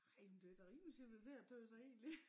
Ej men det da rimelig civiliseret tøs jeg egentlig